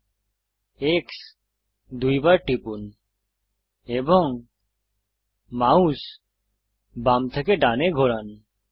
X দুইবার টিপুন এবং মাউস বাম থেকে ডানে ঘোরান